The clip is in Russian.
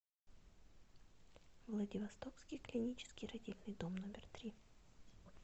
владивостокский клинический родильный дом номер три